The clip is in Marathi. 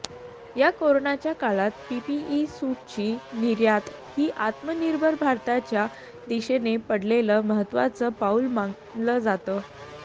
या करोनाच्या काळात पीपीई सूटची निर्यात ही आत्मनिर्भर भारतच्या दिशेने पडलेलं महत्त्वाचं पाऊल मानलं जातं